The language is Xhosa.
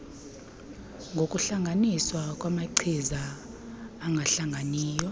ngokuhlanganiswa kwamachiza angahlanganiyo